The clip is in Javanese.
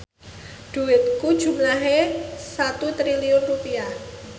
dhuwitku jumlahe 1 triliun rupiah